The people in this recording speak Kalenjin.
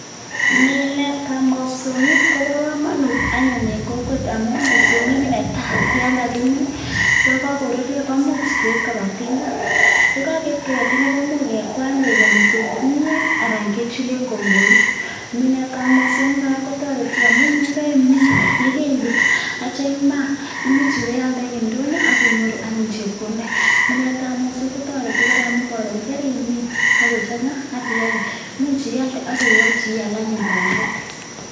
Minetab mosog'ik kobo komonut anyun en kokwet amun mosong'ik netai yon kagimin, yon kogoruryo komuch keib koba tinga. Ye kogeib koba tinga koimuch kekwany koik kimyeet anan kechulen kongorik. Minetab mosong'ik kora kotoreti amun ye keimin, ye keibut ak kityo imaakoimuch ibealde en ndonyo ak inyoru anyun chepkondok. Minetab mosong'ik kotoreti kora amun koron keimin ak kochang'a ak ialde, imuch ialde ak iwolchi ial anyun bandek.